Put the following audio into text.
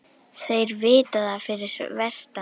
Þeir vita það fyrir vestan